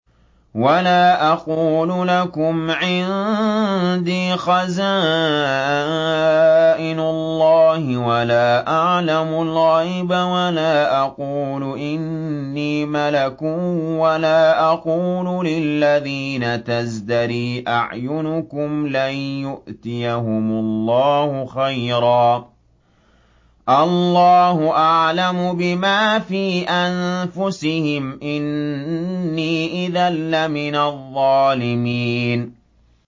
وَلَا أَقُولُ لَكُمْ عِندِي خَزَائِنُ اللَّهِ وَلَا أَعْلَمُ الْغَيْبَ وَلَا أَقُولُ إِنِّي مَلَكٌ وَلَا أَقُولُ لِلَّذِينَ تَزْدَرِي أَعْيُنُكُمْ لَن يُؤْتِيَهُمُ اللَّهُ خَيْرًا ۖ اللَّهُ أَعْلَمُ بِمَا فِي أَنفُسِهِمْ ۖ إِنِّي إِذًا لَّمِنَ الظَّالِمِينَ